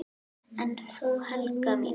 En þú, Helga mín?